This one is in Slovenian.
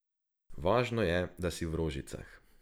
Važno je, da si v rožicah.